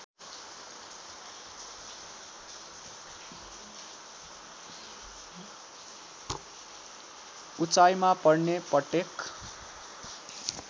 उचाइमा पर्ने पट्टेक